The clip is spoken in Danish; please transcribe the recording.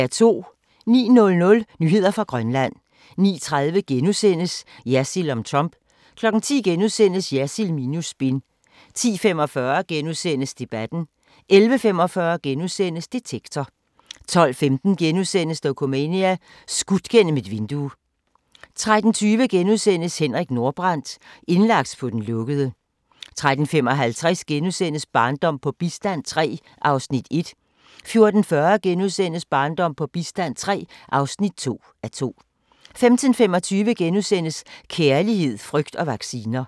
09:00: Nyheder fra Grønland 09:30: Jersild om Trump * 10:00: Jersild minus spin * 10:45: Debatten * 11:45: Detektor * 12:15: Dokumania: Skudt gennem et vindue * 13:20: Henrik Nordbrandt – indlagt på den lukkede * 13:55: Barndom på bistand III (1:2)* 14:40: Barndom på bistand III (2:2)* 15:25: Kærlighed, frygt og vacciner *